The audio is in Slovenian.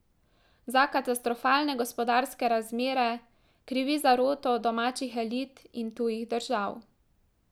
Za katastrofalne gospodarske razmere krivi zaroto domačih elit in tujih držav.